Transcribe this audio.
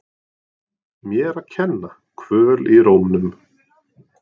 Mér að kenna- Kvöl í rómnum.